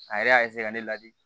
A yɛrɛ y'a ka ne ladi